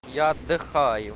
я отдыхаю